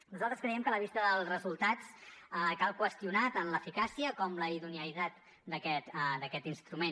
nosaltres creiem que a la vista dels resultats cal qüestionar tan l’eficàcia com la idoneïtat d’aquest instrument